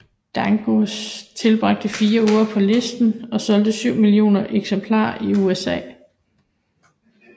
Dangerous tilbragte 4 uger på listen og solgte 7 millioner eksemplarer i USA